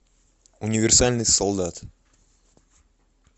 универсальный солдат